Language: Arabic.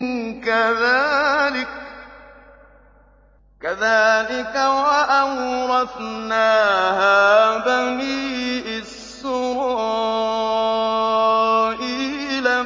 كَذَٰلِكَ وَأَوْرَثْنَاهَا بَنِي إِسْرَائِيلَ